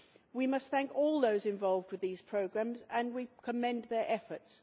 We must thank all those involved with these programmes and we commend their efforts.